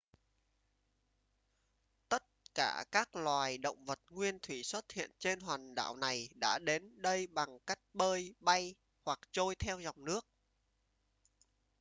tất cả các loài động vật nguyên thủy xuất hiện trên hòn đảo này đã đến đây bằng cách bơi bay hoặc trôi theo dòng nước